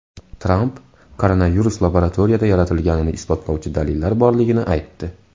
Tramp koronavirus laboratoriyada yaratilganini isbotlovchi dalillar borligini aytdi.